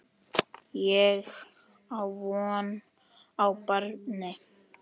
Ég á von á barni.